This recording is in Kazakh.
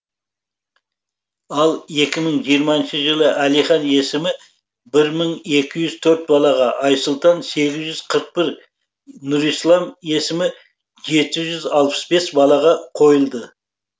ал екі мың жиырмасыншы жылы әлихан есімі бір мың екі жүз төрт балаға айсұлтан сегіз жүз қырық бір нұрислам есімі жеті жүз алпыс бес балаға қойылды